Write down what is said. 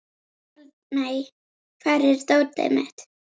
Eldmey, hvar er dótið mitt?